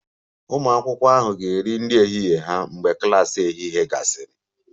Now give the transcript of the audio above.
Ụmụ akwụkwọ ahụ ga-eri nri ehihie ha mgbe klas ehihie gasịrị